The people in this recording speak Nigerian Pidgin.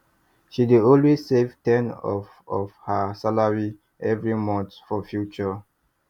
she dey always save ten of of her salary every month for future